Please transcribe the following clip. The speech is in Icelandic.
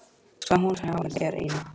Svaf hún hjá þér í nótt?